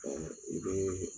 i be